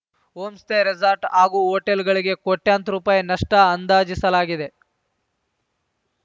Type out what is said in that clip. homestay resort ಹಾಗೂ ಹೊಟೇಲ್‌ಗಳಿಗೆ ಕೋಟ್ಯಂತರ ರುಪಾಯಿ ನಷ್ಟಅಂದಾಜಿಸಲಾಗಿದೆ